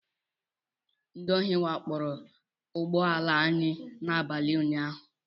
Ndị ohi wakporo ụgbọ ala anyị n'abalị unyaahụ